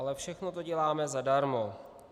Ale všechno to děláme zadarmo.